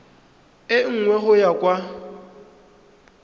e nngwe go ya kwa